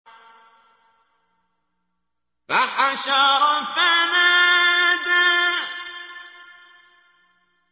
فَحَشَرَ فَنَادَىٰ